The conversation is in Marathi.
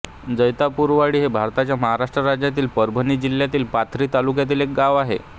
जैतापूरवाडी हे भारताच्या महाराष्ट्र राज्यातील परभणी जिल्ह्यातील पाथरी तालुक्यातील एक गाव आहे